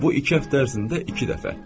Bu iki həftə ərzində iki dəfə.